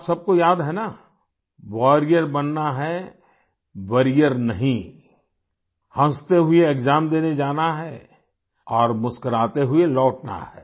आप सब को याद है ना वारियर बनना है वॉरियर नहीं हँसते हुए एक्साम देने जाना है और मुस्कुराते हुए लौटना है